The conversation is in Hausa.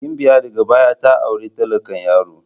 Gimbiya daga baya ta auri talakan yaron.